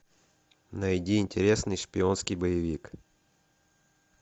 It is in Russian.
найди интересный шпионский боевик